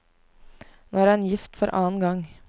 Nå er han gift for annen gang.